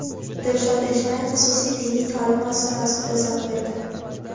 Dilshod Eshnayev xususiy diniy ta’lim masalasida izoh berdi.